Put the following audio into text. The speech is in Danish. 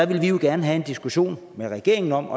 vi jo gerne have en diskussion med regeringen om